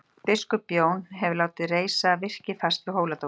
Biskup Jón hefur látið reisa virki fast við Hóladómkirkju.